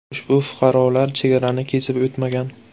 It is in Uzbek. Ushbu fuqarolar chegarani kesib o‘tmagan.